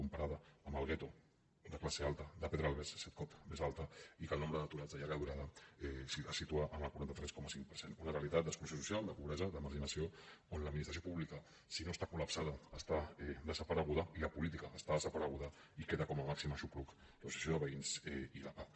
comparada amb el gueto de classe alta de pedralbes set cops més alta i que el nombre d’aturats de llarga durada es situa en el quaranta tres coma cinc per cent una realitat d’exclusió social de pobresa de marginació on l’administració pública si no està colreguda i la política està desapareguda i queda com a màxim aixopluc l’associació de veïns i la pah